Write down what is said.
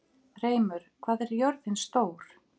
Hreimur, hvað er jörðin stór?